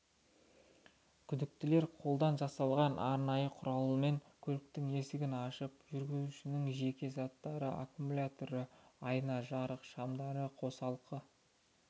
күдіктілер қолдан жасалған арнайы құралмен көліктің есігін ашып жүргізушінің жеке заттары аккмуляторы айна жарық шамдары қосалқы